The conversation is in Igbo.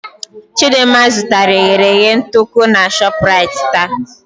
Chidimma zụtara eghereghe nduku na Shoprite taa.